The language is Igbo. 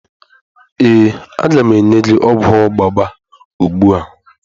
Ee, a ga m enye gị ogwu ọgba gba ugbu a.